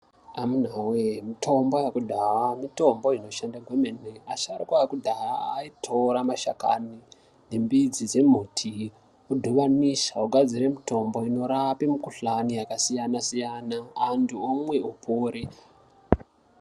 Amuna wee mitombo yekudhaya mitombo inoshanda kwememe asharuka ekudhaya aitore mashakani nembidzi dzemuti odhibanisa ogadzire mutombo inorape mikhuhlani yakasiyana siyana antu omwe opore.